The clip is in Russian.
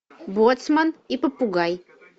боцман и попугай